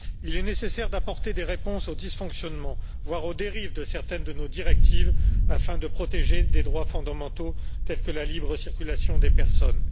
Il est nécessaire d'apporter des réponses aux dysfonctionnements, voire aux dérives de certaines de nos directives afin de protéger les droits fondamentaux tels que la libre circulation des personnes.